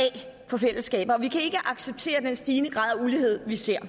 fra fællesskabet og vi kan ikke acceptere den stigende grad af ulighed vi ser